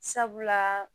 Sabula